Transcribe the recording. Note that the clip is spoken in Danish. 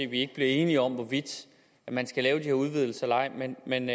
vi ikke bliver enige om hvorvidt man skal lave de her udvidelser eller ej men man